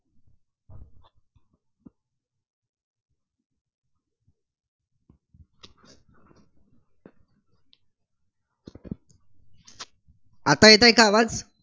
आता येतायं का आवाज?